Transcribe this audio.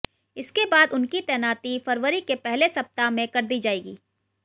इसके बाद उनकी तैनाती फरवरी के पहले सप्ताह में कर दी जाएगी